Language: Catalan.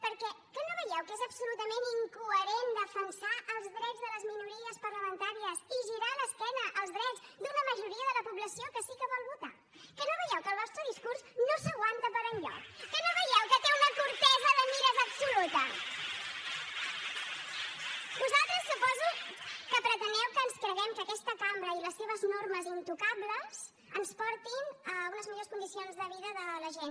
perquè que no veieu que és absolutament incoherent defensar els drets de les minories parlamentàries i girar l’esquena als drets d’una majoria de la població que sí que vol votar que no veieu que el vostre discurs no s’aguanta per enlloc que no veieu que té una curtesa de mires absoluta vosaltres suposo que preteneu que ens creguem que aquesta cambra i les seves normes intocables ens portin a unes millors condicions de vida de la gent